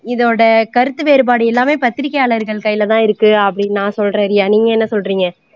இதோட கருத்து வேறுபாடு எல்லாமே பத்திரிக்கையாளர்கள் கையில தான் இருக்கு அப்படின்னு நான் சொல்கிறேன் ரியா நீங்க என்ன சொல்றீங்க